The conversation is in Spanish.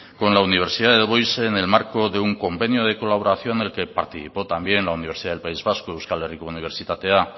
con la universidad de en el marco de un convenio de colaboración en el que participó también la universidad del país vasco euskal herriko unibertsitatea